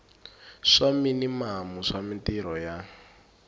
swa minimamu swa mintirho ya